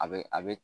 A be a be